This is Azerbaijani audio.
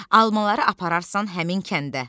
Almaları apararsan həmin kəndə.